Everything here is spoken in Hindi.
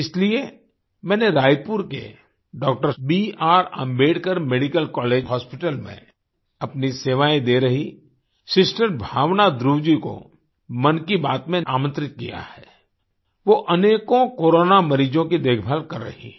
इसलिए मैंने रायपुर के doctor B R Ambedkar medical college hospital में अपनी सेवाएँ दे रहीं सिस्टर भावना ध्रुव जी को मन की बात में आमंत्रित किया है वो अनेकों कोरोना मरीजों की देखभाल कर रही हैं